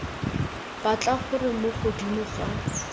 batla gore mo godimo ga